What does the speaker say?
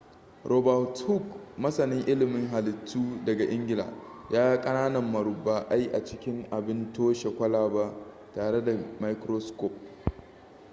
robert hooke masanin ilimin halittu daga ingila ya ga ƙananan murabba'ai a cikin abin toshe kwalaba tare da microscope